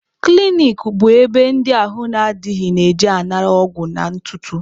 Klinik bụ ebe ndị ahụ adịghị na-eje anara ọgwụ na ntụtụ.